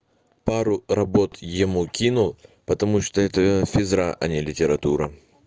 пару работ ему кину потому что это ээ физра а не литература